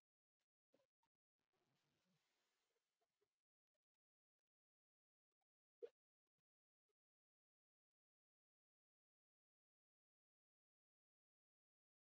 Lóa Lóa lá þarna uppi og gat aftur farið að hugsa.